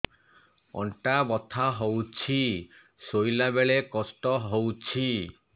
ଅଣ୍ଟା ବଥା ହଉଛି ଶୋଇଲା ବେଳେ କଷ୍ଟ ହଉଛି